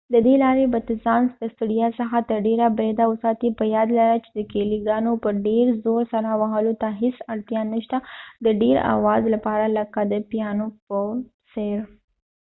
ددې لارې به ته ځان د ستړیا څخه تر ډیره بریده وساتي په یاد ولره چې د کېلی ګانو په ډیر زور سره وهلو ته هیڅ اړتیا نه شته د ډیر اواز لپاره لکه د پیانو په څیر